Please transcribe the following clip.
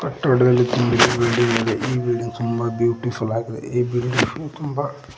ಕಟ್ಟಡದಲ್ಲಿ ತುಂಬಿದ ಬಿಲ್ಡಿಂಗ್ ಇದೆ ಈ ಬಿಲ್ಡಿಂಗ್ ತುಂಬ ಬ್ಯೂಟಿಫುಲ್ ಆಗಿದೆ ಈ ಬಿಲ್ಡಿಂಗ್ಸ್ ತುಂಬ --